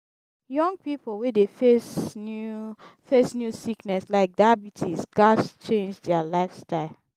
young pipo wey dey face new face new sickness like diabetes gats change dia lifestyle.